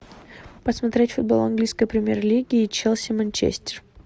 посмотреть футбол английской премьер лиги челси манчестер